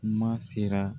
N'a sera